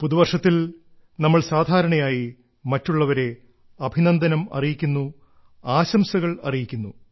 പുതുവർഷത്തിൽ നമ്മൾ സാധാരണയായി മറ്റുള്ളവരെ അഭിനന്ദനം അറിയിക്കുന്നു ആശംസകൾ അറിയിക്കുന്നു